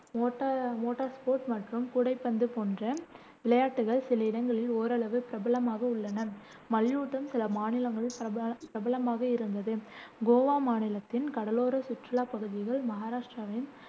மோட்டா motor sport மற்றும் கூடைப்பந்து போன்ற விளையாட்டுகள் சில இடங்களில் ஓரளவு பிரபலமாக உள்ளன மல்யுத்தம் சில மாநிலங்களில் பிரப பிரபலமாக இருந்தது. கோவா மாநிலத்தின் கடலோர சுற்றுலாப் பகுதிகள், மகாராஷ்டிராவின்